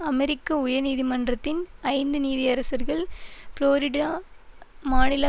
அமெரிக்க உயர் நீதிமன்றத்தின் ஐந்து நீதியரசர்கள் புளோரிடா மாநில